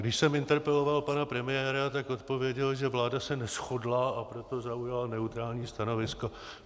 Když jsem interpeloval pana premiéra, tak odpověděl, že vláda se neshodla, a proto zaujala neutrální stanovisko.